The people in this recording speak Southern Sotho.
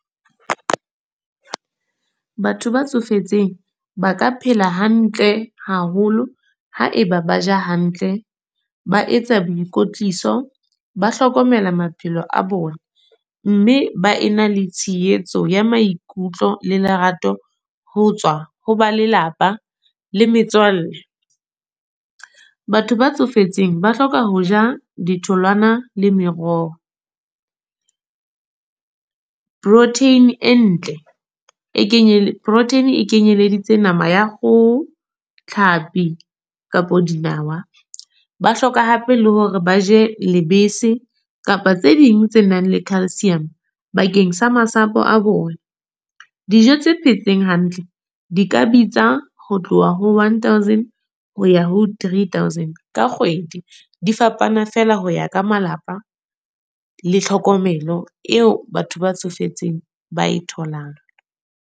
Batho ba tsofetseng ba ka phela hantle haholo, ha eba ba ja hantle. Ba etsa boikwetliso, ba hlokomela maphelo a bona. Mme ba ena le tshehetso ya maikutlo le lerato, ho tswa ho ba lelapa le metswalle. Batho ba tsofetseng ba hloka ho ja ditholwana le meroho. Protein e ntle e kenyeletse, protein e kenyeleditse nama ya kgoho, tlhapi kapo dinawa. Ba hloka hape le hore ba je lebese kapa tse ding tse nang le calcium. Bakeng sa masapo a bona. Dijo tse phetseng hantle di ka bitsa ho tloha ho one thousand ho ya ho three thousand ka kgwedi. Di fapana feela ho ya ka malapa, le tlhokomelo eo batho ba tsofetseng ba e tholang.